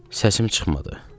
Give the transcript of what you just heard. Səsim çıxmadı.